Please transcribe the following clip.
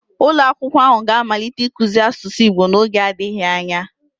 ulo akwukwo ahu ga-amalite ikuzi asusu igbo n'oge adighi anya